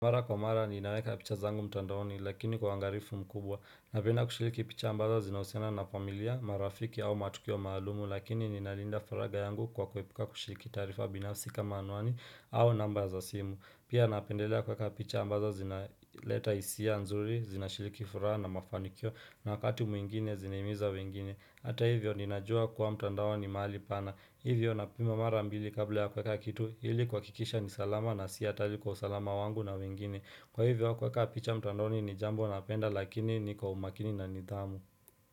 Mara kwa mara ninaweka picha zangu mtandaoni lakini kwa uangalifu mkubwa. Napenda kushiriki picha ambazo zinahusiana na familia, marafiki au matukio maalumu, lakini ninalinda faragha yangu kwa kuepuka kushiriki taarifa binafsi kama anwani au namba za simu. Pia napendelea kuweka picha ambazo zina leta hisia nzuri, zinashiriki furaha na mafanikio na wakati mwingine zinahimiza wengine. Hata hivyo ninajua kuwa mtandao ni mahali pana, hivyo napima mara mbili kabla ya kuweka kitu ili kuhakikisha ni salama na si hatari kwa usalama wangu na wengine. Kwa hivyo kuweka picha mtandaoni ni jambo napenda lakini ni kwa umakini na nidhamu.